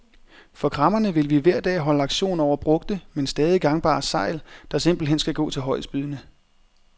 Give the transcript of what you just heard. For kræmmerne vil vi hver dag holde auktion over brugte, men stadig gangbare sejl, der simpelthen skal gå til højestbydende.